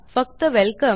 फक्त वेलकम